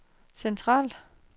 centralt